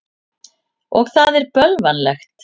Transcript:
Og það er bölvanlegt.